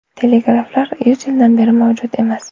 Telegraflar yuz yildan beri mavjud emas.